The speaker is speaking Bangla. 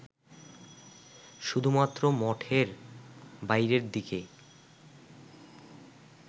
শুধুমাত্র মঠের বাইরের দিকে